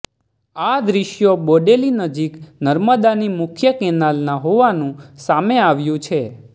આ દૃશ્યો બોડેલી નજીક નર્મદાની મુખ્ય કેનાલના હોવાનું સામે આવ્યું છે